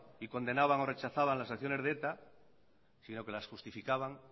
y condenaban o rechazaban las acciones de eta sino que las justificaban